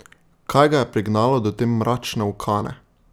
Kaj ga je prignalo do te mračne ukane?